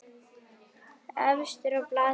Efstur á blaði einnig hér.